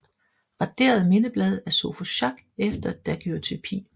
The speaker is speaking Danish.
Raderet mindeblad af Sophus Schack efter daguerreotypi